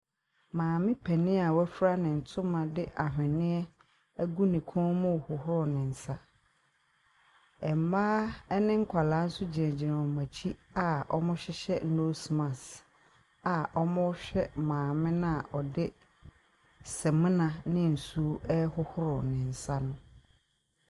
Maame panyin a wofira ne ntoma de ahweneɛ agu ne kɔn mu hohoro ne nsa. Mmaa ɛne nkwadaa nso gyinagyina wɔn akyi a wɔhyehyɛ nose mask a wɔrehwɛ maame noa ɔde samina ne nsuo ɛhohoro ne nsa no.